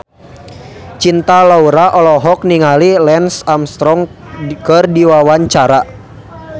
Cinta Laura olohok ningali Lance Armstrong keur diwawancara